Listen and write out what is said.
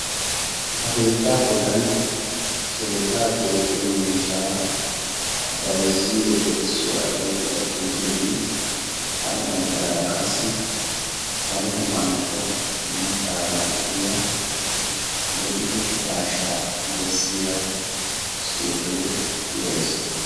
Ha keettaa bollan keettaa keexxiyo miishsha bayzziyo erissuwa oyqqida xuufeenne hara baggaara qassi salo gufantto mattaa bankkiya bodditte daashshaa bessiya xuufee de"es.